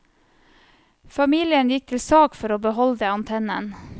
Familien gikk til sak for å beholde antennen.